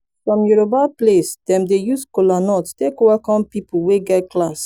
som yoroba place dem dey use kolanut take welkom pipol wey get class